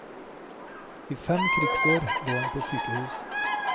I fem krigsår lå han på sykehus.